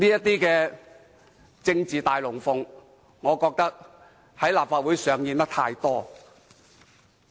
這種政治"大龍鳳"，我認為在立法會上演得太多了。